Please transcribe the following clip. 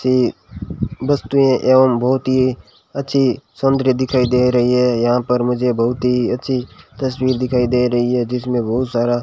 ये वस्तुयें एवं बहुत ही अच्छी सौंदर्य दिखाई दे रही है यहां पर मुझे बहुत ही अच्छी तस्वीर दिखाई दे रही है जिसमें बहुत सारा --